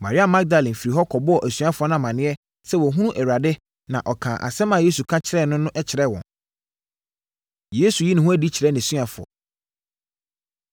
Maria Magdalene firii hɔ kɔbɔɔ asuafoɔ no amaneɛ sɛ wahunu Awurade na ɔkaa asɛm a Yesu ka kyerɛɛ no no kyerɛɛ wɔn. Yesu Yi Ne Ho Adi Kyerɛ Nʼasuafoɔ